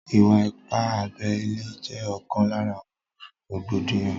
Ìwà ipá abẹ ile jẹ́ ókan lára àwọn rògbòdìyàn